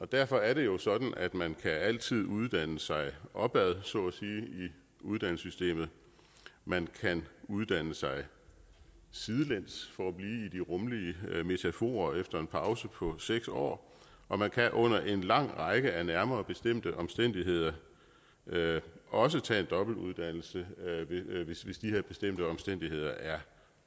derfor er det jo sådan at man altid kan uddanne sig opad så at sige i uddannelsessystemet man kan uddanne sig sidelæns for at blive i de rummelige metaforer efter en pause på seks år og man kan under en lang række af nærmere bestemte omstændigheder også tage en dobbeltuddannelse hvis de her bestemte omstændigheder er